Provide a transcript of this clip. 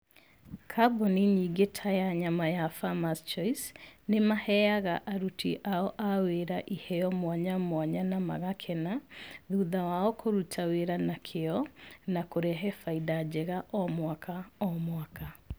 Kambuni nyingĩ ta ya nyama ya Farmers Choice, nĩmahega aruti wĩra ao iheo mwanya mwanya na magakena thutha wao kũruta wĩra na kĩo, na kũrehe faida njega o mwaka o mwaka.